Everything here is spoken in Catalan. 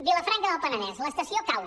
vilafranca del penedès l’estació cau